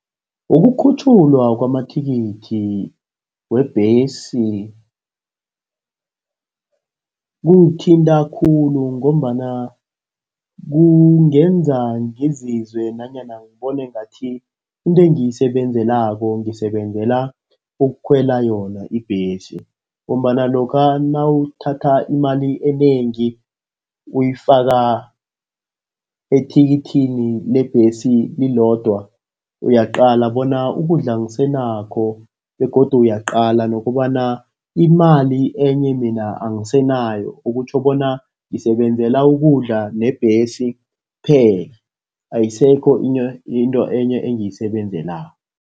Ukukhutjhulwa kwamathikithi webhesi, kungithinta khulu ngombana kungenza ngizizwe nanyana ngibone ngathi into engiyisebenzelako ngisebenzela ukukhwela yona ibhesi, ngombana lokha nawuthatha imali enengi uyifaka ethikithini lebhesi lilodwa uyaqala bona ukudla angisenakho. Begodu uyaqala nokobana imali enye mina angisenayo. Okutjho bona ngisebenzela ukudla nebhesi kuphela. Ayisekho into enye engiyisebenzelako.